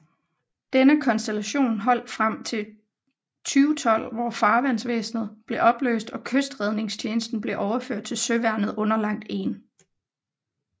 Denne konstellation holdt frem til 2012 hvor Farvandsvæsenet blev opløst og Kystredningstjenesten blev overført til Søværnet underlagt 1